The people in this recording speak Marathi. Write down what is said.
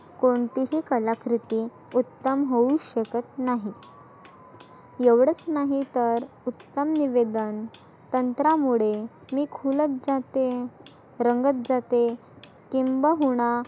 कोणती ही कला कृती उत्तम होऊच शकत नाही. एवढच नाही तर उत्तम निवेदन तंत्रामुळे मी खुलत जाते, रंगत जाते. किंब हुना